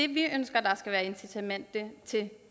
vi ønsker der skal være incitament til